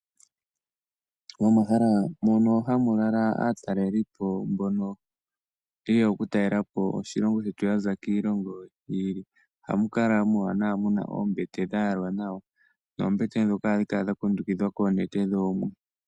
Momahala mono hamulala aatalelipo mbono yeya okutalela po oshilongo shetu yaza kiilongo yi ili ohamukala muwanawa muna oombete dhayalwa nawa, noombete ohadhi kala dhakundukidhwa koonete dhoomwe.